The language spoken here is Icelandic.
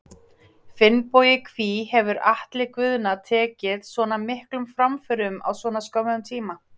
Finnbogi Hví hefur Atli Guðna tekið svona miklum framförum á svona skömmum tíma?